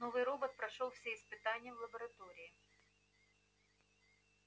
новый робот прошёл все испытания в лаборатории